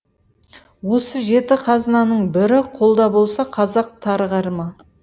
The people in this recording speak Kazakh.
осы жеті қазынаның бірі қолда болса қазақ тарығар ма